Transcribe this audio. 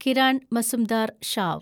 Kiran Mazumdar Shaw